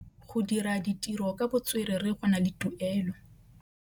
Go dira ditirô ka botswerere go na le tuelô.